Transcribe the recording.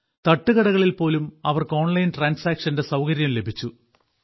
തട്ടുകടകളിൽ പോലും അവർക്കു ഓൺലൈൻ ട്രാൻസാക്ഷന്റെ സൌകര്യം ലഭിച്ചു